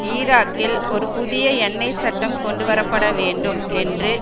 ஈராக்கில் ஒரு புதிய எண்ணெய்ச் சட்டம் கொண்டு வரப்பட வேண்டும் என்று